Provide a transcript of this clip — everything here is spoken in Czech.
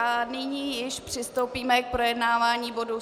A nyní již přistoupíme k projednávání bodu